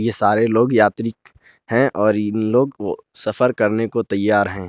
ये सारे लोग यात्री हैं और इन लोग सफर करने को तैयार हैं।